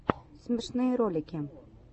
смешные ролики